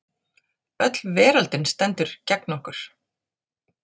Öll veröldin stendur gegn okkur.